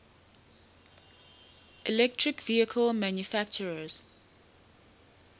electric vehicle manufacturers